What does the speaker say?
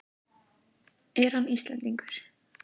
Er hann Íslendingur?